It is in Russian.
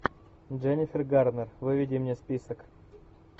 дженнифер гарнер выведи мне список